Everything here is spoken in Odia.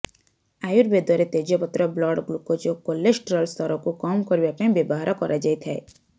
ଆୟୁର୍ବେଦରେ ତେଜପତ୍ର ବ୍ଲଡ ଗ୍ଲୁକୋଜଓ କୋଲଷ୍ଟ୍ରଲସ୍ତରକୁ କମ୍ କରିବା ପାଇଁ ବ୍ୟବହାର କରାଯାଇଥାଏ